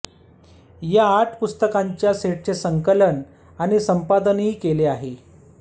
या आठ पुस्तकांच्या सेटचे संकलन आणि संपादन केले आहे